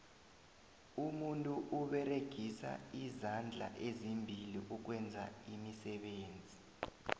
umuntu uberegisa izandla ezimbili ukwenza iimisebenzi